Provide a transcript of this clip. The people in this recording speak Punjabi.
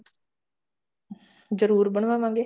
ਜਰੁਰ ਬਣਵਾਵਾਂਗੇ